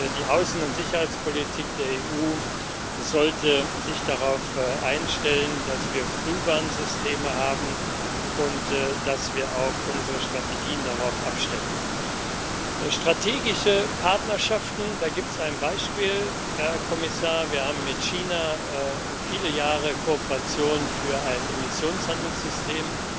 Die Außen und Sicherheitspolitik der EU sollte sich darauf einstellen, dass wir Frühwarnsysteme haben und dass wir auch unsere Strategien darauf abstellen. Für strategische Partnerschaften gibt es ein Beispiel, Herr Kommissar Wir haben mit China viele Jahre Kooperation für ein Emissionshandelssystem